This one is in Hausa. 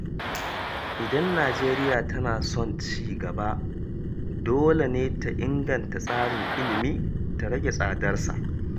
Idan Najeriya tana son ci gaba, dole ne ta inganta tsarin ilimi ta rage tsadar sa.